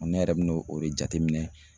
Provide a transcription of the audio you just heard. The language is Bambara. Ne yɛrɛ benɛ o de jateminɛ